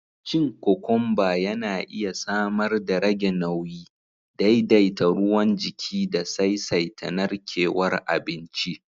Cin kokomba yana iya samar darage nauyi, daidaita ruwan jiki da saisaita narkewar abinci